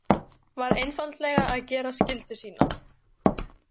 Var einfaldlega að gera skyldu sína.